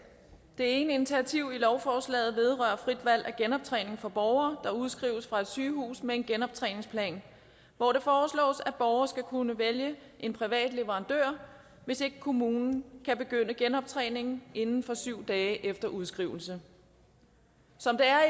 det ene initiativ i lovforslaget vedrører frit valg af genoptræning for borgere der udskrives fra et sygehus med en genoptræningsplan hvor det foreslås at borgere skal kunne vælge en privat leverandør hvis ikke kommunen kan begynde genoptræningen inden for syv dage efter udskrivelse som det er